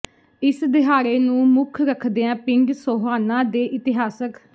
ਇਸ ਦਿਹਾੜੇ ਨੂੰ ਮੁੱਖ ਰੱਖਦਿਆਂ ਪਿੰਡ ਸੋਹਾਣਾ ਦੇ ਇਤਿਹਾਸਕ